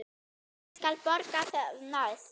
Ég skal borga það næst.